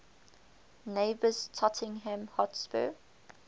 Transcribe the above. neighbours tottenham hotspur